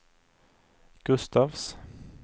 Gustafs